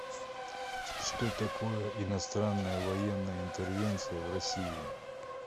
что такое иностранная военная интервенция в россии